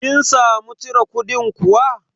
Kin samu cire kudin kuwa?